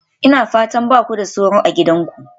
Ina fatan ba ku da sauro a gidanku?